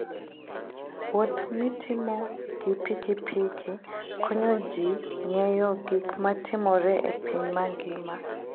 Wuoth mitimo gi pikipiki konyo ji ng'eyo gik matimore e piny mangima.